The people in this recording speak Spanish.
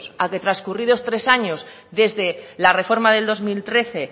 a que trascurrido tres años desde la reforma del dos mil trece